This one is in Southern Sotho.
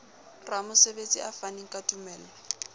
ramosebetsi a faneng ka tumello